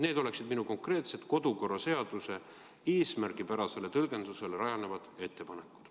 Need oleksid minu konkreetsed kodukorraseaduse eesmärgipärasele tõlgendusele rajanevad ettepanekud.